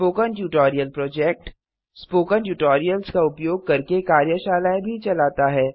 spoken tutorial project spoken tutorials का उपयोग करके कार्यशालाएँ भी चलाता है